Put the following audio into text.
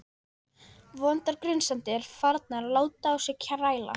Vondar grunsemdir farnar að láta á sér kræla.